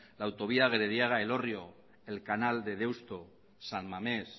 la autovía de gerediaga elorrio el canal de deusto san mames